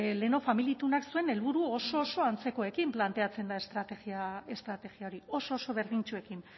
lehenago familia itunak zuen helburu oso oso antzekoekin planteatzen da estrategia hori oso oso berdintsuekin